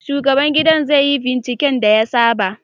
Shugaban gidan zai yi binciken da ya saba